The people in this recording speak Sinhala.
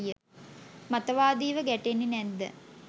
මතවාදීව ගැටෙන්නෙ නැද්ද?